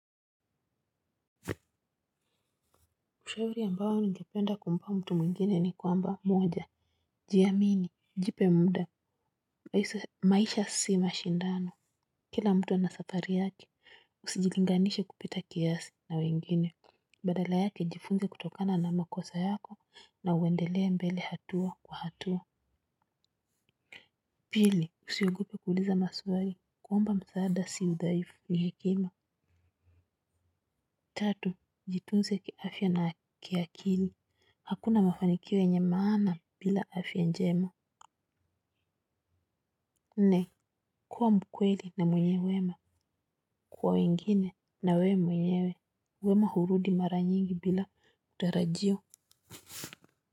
Ushauri ambao ningependa kumpa mtu mwingine ni kwamba moja. Jiamini, jipe muda, maisha si mashindano. Kila mtu ana safari yake, usijilinganishe kupita kiasi na wengine. Badala yake jifunze kutokana na makosa yako na uendelee mbele hatua kwa hatua. Pili, usiogope kuuuliza maswali, kuomba msaada si udhaifu ni hekima. Tatu, jitunze kiafya na kiakili. Hakuna mafanikio yenye maana bila afya njema. Nne kuwa mkweli na mwenye wema kwa wengine na we mwenyewe. Wema hurudi mara nyingi bila utarajio.